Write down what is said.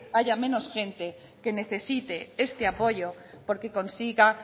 haya menos gente que necesite este apoyo porque consiga